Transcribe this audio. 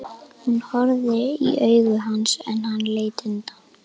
Hún horfði í augu hans en hann leit undan.